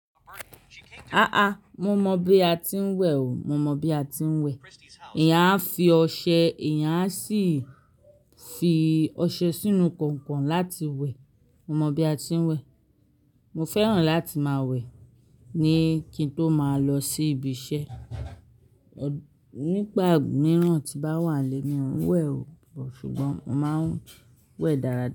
Ah ah, mo mọn bi a ti ń wẹ̀ o. Mo mọ bi a ti ń wẹ̀. Eyáń a fi ọṣẹ, eyán a sì fi ọṣẹ sínú kọ̀nkọ̀n láti wẹ̀. Mo mọ bi a ti ń wẹ̀. Mo fẹ́ràn láti máa wẹ̀ ní kí n tó máa lọ sí ibiṣẹ́. Nípa mìíràn tí bá wà n lé, mi ò ń wẹ̀ o, ṣùgbọ́n mo máa ń wẹ̀ dára.